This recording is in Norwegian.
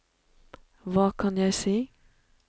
hva kan jeg si